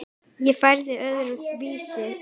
Ég færi öðru vísi að.